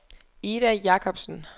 Ida Jacobsen